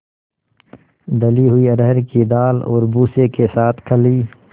दली हुई अरहर की दाल और भूसे के साथ खली